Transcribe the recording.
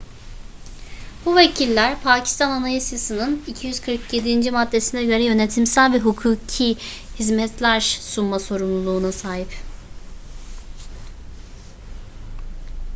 bu vekiller pakistan anayasası'nın 247. maddesine göre yönetimsel ve hukuki hizmetler sunma sorumluluğuna sahip